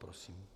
Prosím.